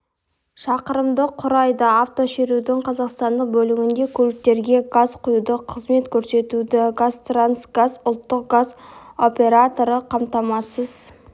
шақырымды құрайды автошерудің қазақстандық бөлігінде көліктерге газ құюды қызмет көрсетуді қазтрансгаз ұлттық газ операторы қамтамасыз